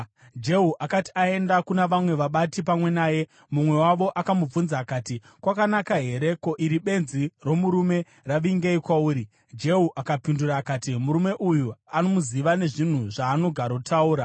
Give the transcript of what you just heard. Jehu akati aenda kuna vamwe vabati pamwe naye, mumwe wavo akamubvunza akati, “Kwakanaka here? Ko, iri benzi romurume ravingei kwauri?” Jehu akapindura akati, “Murume uyu unomuziva nezvinhu zvaanogarotaura.”